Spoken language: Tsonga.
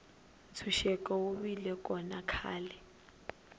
ntshuxeko wu vile kona khale